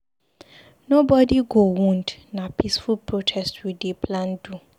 Nobodi go wound, na peaceful protest we dey plan to do.